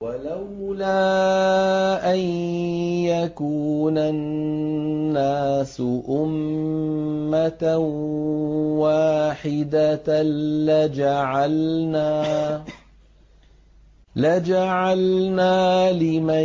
وَلَوْلَا أَن يَكُونَ النَّاسُ أُمَّةً وَاحِدَةً لَّجَعَلْنَا لِمَن